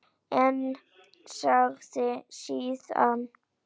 En segir síðan